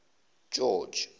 george